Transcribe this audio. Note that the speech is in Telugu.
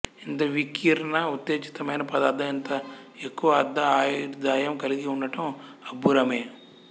ఇంత వికీర్ణ ఉత్తేజితమైన పదార్థం ఇంత ఎక్కువ అర్ధ ఆయుర్దాయం కలిగి ఉండడం అబ్బురమే